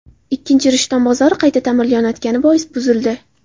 Ikkinchisi Rishton bozori qayta ta’mirlanayotgani bois buzildi.